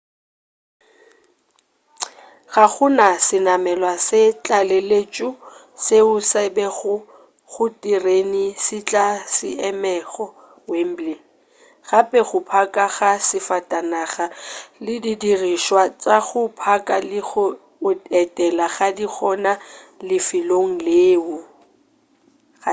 ga go na senamelwa sa tlaleletšo seo se bewago go diterene se tla se emego wembley gape go phaka ga disafatanaga le didirišwa tša go phaka le go otlela ga di gona lefelong leo